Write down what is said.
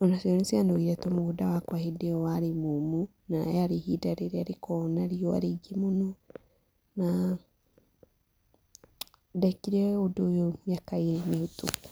o nacio nĩcianogire tondũ mũgũnda wakwa hĩndĩ ĩyo warĩ mũũmũ na rĩarĩ ihinda rĩrĩa rĩkoragwo na riũa rĩingĩ mũno na ndekire ũndũ ũyũ mĩaka ĩĩrĩ mũhĩtũku.